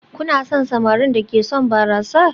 Kuna son samarin da ke shan barasa?